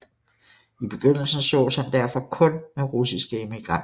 I begyndelsen sås han derfor kun med russiske emigranter